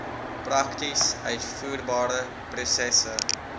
prakties uitvoerbare prosesse